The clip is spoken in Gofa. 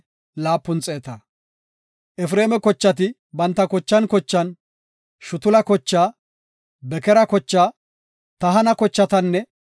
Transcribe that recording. Efreema kochati banta kochan kochan, Shutula kochaa, Bekera kochaa, Tahana kochatanne